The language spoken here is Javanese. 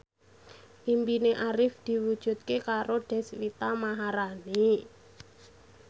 impine Arif diwujudke karo Deswita Maharani